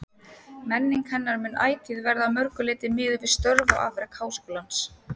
Menning hennar mun ætíð verða að mörgu leyti miðuð við störf og afrek Háskólans.